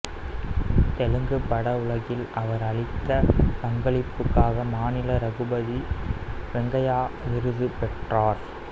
தெலுங்குப் படவுலகில் அவர் அளித்த பங்களிப்புக்காக மாநில ரகுபதி வெங்கையா விருது பெற்றார்